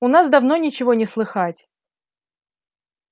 у нас давно ничего не слыхать